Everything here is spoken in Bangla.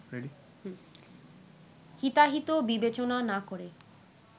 হিতাহিত বিবেচনা না করে